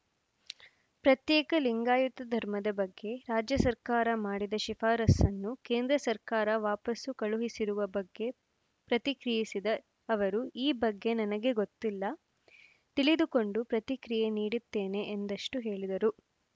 ಪ್ರತ್ಯೇಕ ಲಿಂಗಾಯತ ಧರ್ಮದ ಬಗ್ಗೆ ರಾಜ್ಯ ಸರ್ಕಾರ ಮಾಡಿದ್ದ ಶಿಫಾರಸನ್ನು ಕೇಂದ್ರ ಸರ್ಕಾರ ವಾಪಸು ಕಳುಹಿಸಿರುವ ಬಗ್ಗೆ ಪ್ರತಿಕ್ರಿಯಿಸಿದ ಅವರು ಈ ಬಗ್ಗೆ ನನಗೆ ಗೊತ್ತಿಲ್ಲ ತಿಳಿದುಕೊಂಡು ಪ್ರತಿಕ್ರಿಯೆ ನೀಡುತ್ತೇನೆ ಎಂದಷ್ಟು ಹೇಳಿದರು